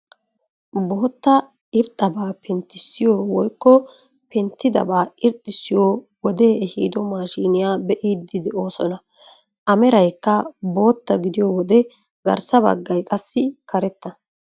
Bootta irxxabaa penttisiyoo woykko penttabaa irxxisiyoo wodee eehido maashiniyaa be'iidi de'oosona. a meraykka bootta gidiyoo wode garssa baggay qassi karetta.